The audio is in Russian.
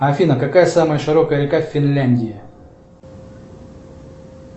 афина какая самая широкая река в финляндии